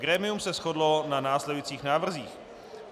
Grémium se shodlo na následujících návrzích.